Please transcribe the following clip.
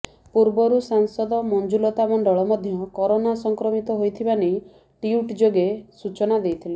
ପୂର୍ବରୁ ସାଂସଦ ମଞ୍ଜୁଲତା ମଣ୍ଡଳ ମଧ୍ୟ କରୋନା ସଂକ୍ରମିତ ହୋଇଥିବା ନେଇ ଟ୍ବିଟ୍ ଯୋଗେ ସୂଚନା ଦେଇଥିଲେ